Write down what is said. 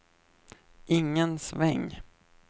ingen sväng